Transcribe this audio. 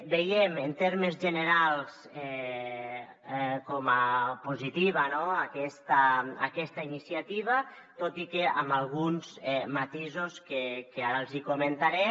veiem en termes generals com a positiva aquesta iniciativa tot i que amb alguns matisos que ara els hi comentaré